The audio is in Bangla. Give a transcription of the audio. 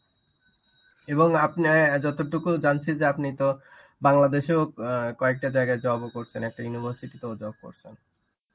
এবং আপনি এ যতটুকু জানছি যে আপনি তো বাংলাদেশেও অ্যাঁ কয়েকটা জায়গায় job ও করছেন. একটা University তেও job করছেন.